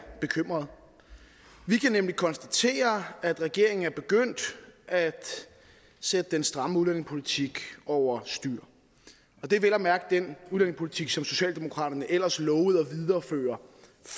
bekymrede vi kan nemlig konstatere at regeringen er begyndt at sætte den stramme udlændingepolitik over styr og det er vel at mærke den udlændingepolitik som socialdemokraterne ellers lovede at videreføre